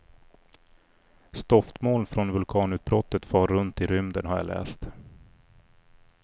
Stoftmoln från vulkanutbrottet far runt i rymden har jag läst.